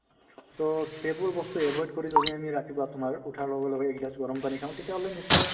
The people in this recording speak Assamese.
so, সেইবোৰ বস্তু avoid কৰি যদি আমি ৰাতিপুৱা তোমাৰ উঠাৰ লগে লগে এগিলাচ গৰম পানী খাওঁ তেতিয়াহলে নিশ্চয়